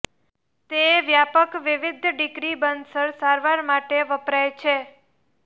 તે વ્યાપક વિવિધ ડિગ્રી બર્ન્સ સારવાર માટે વપરાય છે